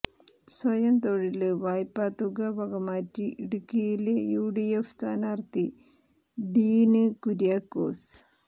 സ്വയം തൊഴില് വായ്പാ തുക വകമാറ്റി ഇടുക്കിയിലെ യുഡിഎഫ് സ്ഥാനാര്ത്ഥി ഡീന് കുര്യാക്കോസ്